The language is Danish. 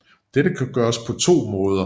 Dette kan gøres på to måder